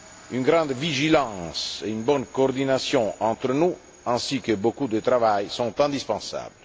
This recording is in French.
Une grande vigilance et une bonne coordination entre nous, ainsi que beaucoup de travail sont indispensables.